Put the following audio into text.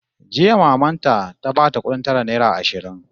Jiya maman ta ta bata kudin tara naira ashirin